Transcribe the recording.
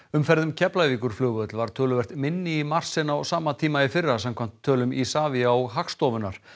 umferð um Keflavíkurflugvöll var töluvert minni í mars en á sama tíma í fyrra samkvæmt tölum Isavia og Hagstofunnar